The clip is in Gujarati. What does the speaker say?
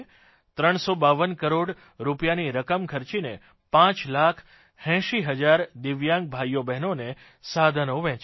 352 કરોડ રૂપિયાની રકમ ખર્ચીને 5 લાખ 80 હજાર દિવ્યાંગ ભાઇઓબ્હેનોને સાધનો વહેંચ્યાં છે